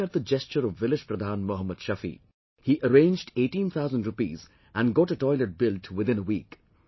Now, look at the gesture of village Pradhan Mohammad Shafi, he arranged eighteen thousand rupees and got a toilet built within a week